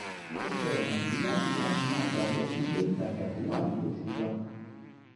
ó sọ ọ̀nà tó yá jù láti máa gbà lọ sí ilé-ìtajà tó wà nítòsí wa